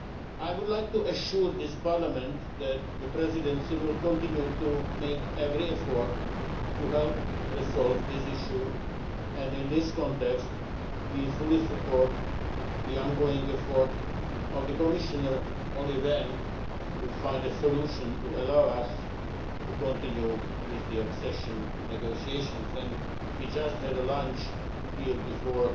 I would like to assure this Parliament that the Presidency will continue to make every effort to help resolve this issue and, in this context, we fully support the ongoing efforts of the Commissioner, Olli Rehn, to find a solution to allow us to continue with the accession negotiations. We had a lunch just before